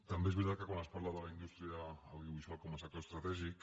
també és veritat que quan es parla de la indústria audiovisual com a sector estratègic